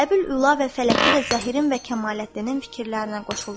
Əbül-Üla və Fələki də Zəhrin və Kəmaləddinin fikirlərinə qoşuldular.